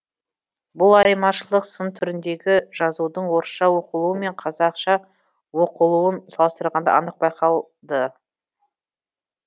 бұл айырмашылық сын түріндегі жазудың орысша оқылуы мен қазақша оқылуын салыстырғанда анық байқалды